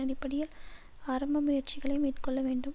அடிப்படையில் ஆரம்ப முயற்சிகளை மேற்கொள்ள வேண்டும்